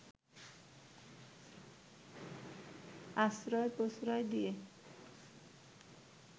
আশ্রয়-প্রশ্রয় দিয়ে